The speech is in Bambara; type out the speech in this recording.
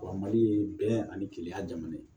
Wa mali ye bɛn ani keleya jamana ye